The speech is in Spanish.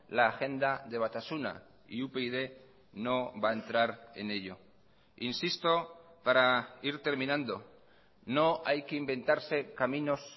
la agenda de batasuna y upyd no va a entrar en ello insisto para ir terminando no hay que inventarse caminos